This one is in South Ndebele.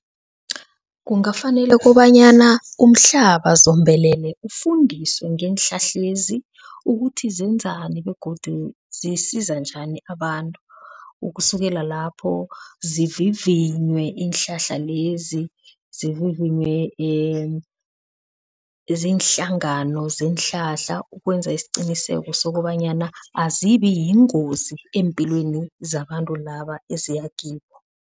Kungafanele kobanyana umhlaba zombelele ufundiswe ngeenhlahlezi ukuthi zenzani begodu zisiza njani abantu. Ukusukela lapho zivivinywe iinhlahla lezi, zivivinywe ziinhlangano zeenhlahla ukwenza isiqiniseko sokobanyana azibi yingozi eempilweni zabantu laba eziyakibo.